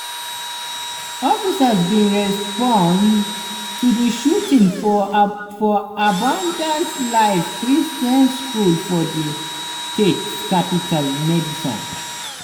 officers bin respond to di shooting forabundant abundant life christian school for di state capital madison.